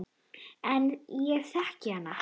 En ég þekki hana.